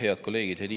Head kolleegid!